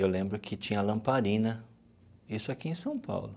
Eu lembro que tinha lamparina, isso aqui em São Paulo.